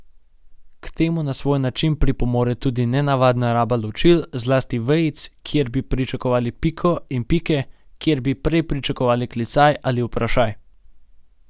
K temu na svoj način pripomore tudi nenavadna raba ločil, zlasti vejic, kjer bi pričakovali piko, in pike, kjer bi prej pričakovali klicaj ali vprašaj.